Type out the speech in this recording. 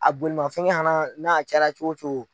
A bolifɛn na n'a caya la cogo o cogo